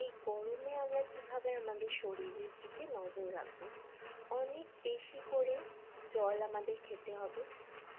এই গরমে আমরা কিভাবে আমাদের শরীরের দিকে নজর রাখব অনেক বেশি করে জল আমাদের খেতে হবে